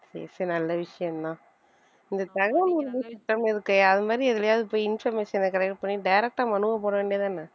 சரி சரி நல்ல விஷயம்தான் இந்த தகவல் இருக்கே அது மாதிரி எதுலயாவது போய் information அ collect பண்ணி direct ஆ மனுவை போட வேண்டியதுதான